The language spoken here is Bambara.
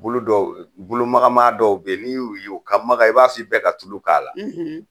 Bolo dɔw bolomagama dɔw bɛ n'i y'u, u ka maga, i b'a si bɛ ka tulu k'a la